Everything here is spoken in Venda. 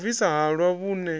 ya u bvisa halwa vhune